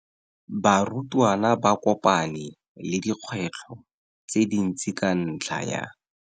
Barutwana ba kopane le dikgwetlho tse dintsi ka ntlha ya.